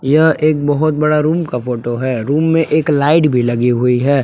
यह एक बहोत बड़ा रूम का फोटो है रूम में एक लाइट भी लगी हुई है।